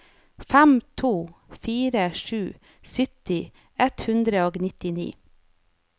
fem to fire sju sytti ett hundre og nittini